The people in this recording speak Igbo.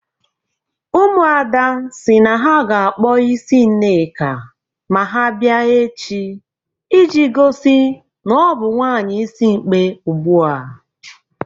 Ụmụada si na ha ga-akpọ isi Nneka ma ha bịa echi iji gosi na ọ bụ nwaanyị isimkpi ugbu a.